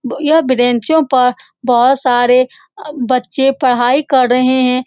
यह ब्रेंचो पर बहुत सारे बच्चे पढ़ाई कर रहे हैं।